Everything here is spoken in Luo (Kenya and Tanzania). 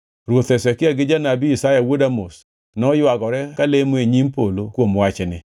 Ruoth Hezekia gi janabi Isaya wuod Amoz noywagore ka lemo e nyim polo kuom wachni.